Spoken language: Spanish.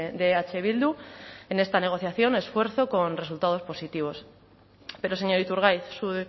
de eh bildu en esta negociación esfuerzo con resultados positivos pero señor iturgaiz su